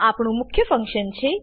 આ આપણું મુખ્ય ફંક્શન છે